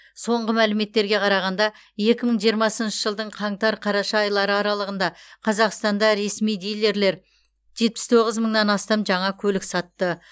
соңғы мәліметтерге қарағанда екі мың жиырмасыншы жылдың қаңтар қараша айлары аралығында қазақстанда ресми дилерлер жетпіс тоғыз мыңнан астам жаңа көлік сатты